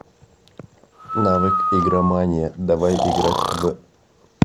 навык игромания давай играть в